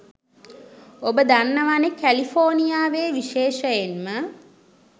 ඔබ දන්නවනෙ කැලිෆෝනියාවේ විශේෂයෙන්ම